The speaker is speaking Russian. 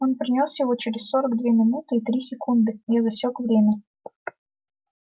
он принёс его через сорок две минуты и три секунды я засек время